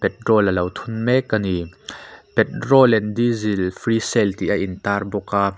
petrol lo thun mek a ni petrol and diesel free sale tih a intar bawk a.